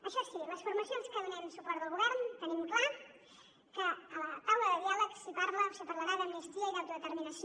això sí les formacions que donem suport al govern tenim clar que a la taula de diàleg s’hi parla o s’hi parlarà d’amnistia i d’autodeterminació